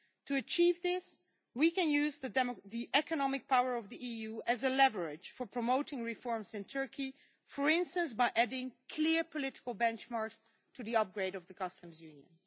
To achieve this, we can use the economic power of the EU as leverage for promoting reforms in Turkey, for instance, by adding clear political benchmarks to the upgrade of the Customs Union.